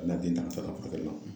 A bɛ na den ka taa ka taa la.